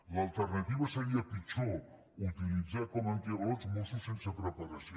l’alternativa seria pitjor utilitzar com a antiavalots mossos sense preparació